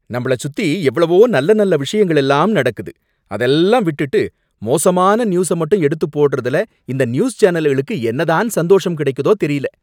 நம்பள சுத்தி எவ்வளவோ நல்ல நல்ல விஷயங்கள் எல்லாம் நடக்குது, அதெல்லாம் விட்டுட்டு மோசமான நியூஸ மட்டும் எடுத்து போடுறதுல இந்த நியூஸ் சேனல்களுக்கு என்ன தான் சந்தோஷம் கிடைக்குதோ தெரியல